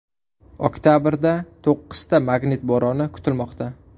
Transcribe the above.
Oktabrda to‘qqizta magnit bo‘roni kutilmoqda.